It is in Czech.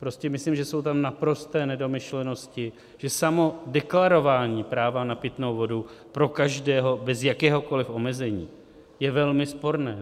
Prostě myslím, že jsou tam naprosté nedomyšlenosti, že samo deklarování práva na pitnou vodu pro každého bez jakéhokoli omezení je velmi sporné.